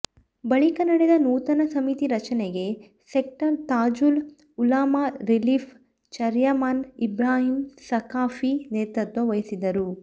ಬಳಿಕ ನಡೆದ ನೂತನ ಸಮಿತಿ ರಚನೆಗೆ sector Tajul Ulama relief chairman Ibrahim Saqafi ನೇತೃತ್ವ ವಹಿಸಿದರು